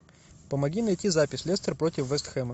помоги найти запись лестер против вест хэма